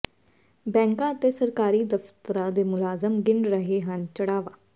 ਬੈਂਕਾਂ ਅਤੇ ਸਰਕਾਰੀ ਦਫ਼ਤਰਾਂ ਦੇ ਮੁਲਾਜ਼ਮ ਗਿਣ ਰਹੇ ਹਨ ਚੜ੍ਹਾਵਾ